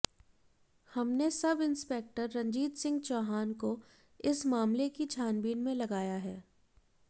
हमने सब इंस्पेक्टर रंजीत सिंह चौहान को इस मामले की छानबीन में लगाया है